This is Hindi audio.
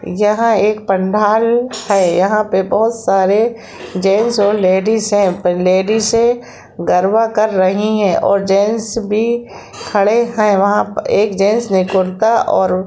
यहाँ एक पंडाल है यहाँ पे बहुत सारे जेंट्स और लेडीज है लेडीजए गरबा कर रही है और जेंट्स भी खड़े है वहा एक जेंट्स ने कुरता और--